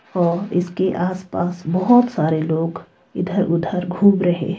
और इसके आसपास बहुत सारे लोग इधर-उधर घूम रहे है।